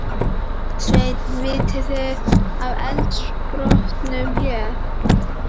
Sveinn: Vitið þið af eldsumbrotunum hér?